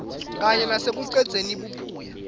kanye nasekucedzeni buphuya